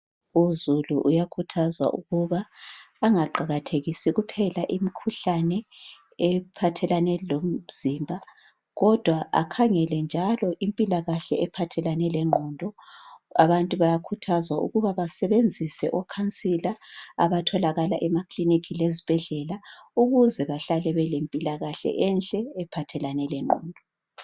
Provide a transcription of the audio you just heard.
Uzulu uyakhuthazwa ukuba angaqakathekisi kuphela imikhuhlane ephathelane lomzimba kodwa akhangele njalo impilakahle ephathelane lengqondo. Abantu bayakhuthazwa ukuba basebenzise okhansila abatholakala emakilinika lezibhedlela ukuze bahlale belempilakahle enhle ephathelane lengqondo.